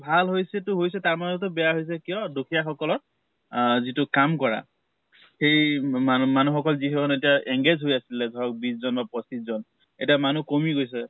ভাল হৈছে তো হৈছে, তাৰ মাজতো বেয়া হৈছে কিয় দুখিয়া সকলৰ যিটো কাম কৰা সেই মান মানুহ সকম যি সকল এতিয়া engage হৈ আছিলে ধৰক বিছ জন বা পঁচিছ জন এতিয়া মানুহ কমি গৈছে।